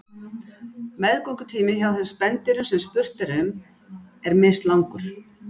Meðgöngutími hjá þeim spendýrum sem spurt er um er mislangur.